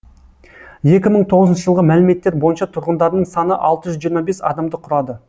екі мың тоғызыншы жылғы мәліметтер бойынша тұрғындарының саны алты жүз жиырма бес адамды құрады